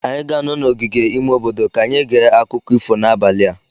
anyị ga-anọ n'ogige ime obodo ka anyị gee akụkọ ifo n'abalị a.